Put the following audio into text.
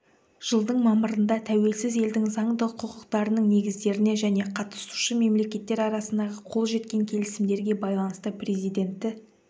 жылдың мамырында тәуелсіз елдің заңды құқықтарының негіздеріне және қатысушы мемлекеттер арасындағы қол жеткен келісімдерге байланысты президенті